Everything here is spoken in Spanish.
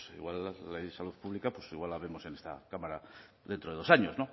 pues bueno la de salud pública igual la vemos en esta cámara dentro de dos años